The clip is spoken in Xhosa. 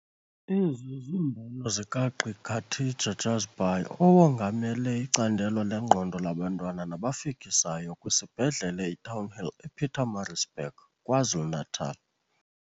Ezi zimbono zikaGq Khatija Jhazbhay, owongamele iCandelo leNgqondo laBantwana nabaFikisayo kwisibhedlele iTownhill ePietermaritzburg, KwaZulu-Natal.